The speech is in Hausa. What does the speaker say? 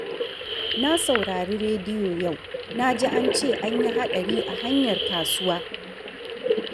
Na saurari rediyo yau. Na ji an ce an yi haɗari a hanyar kasuwa.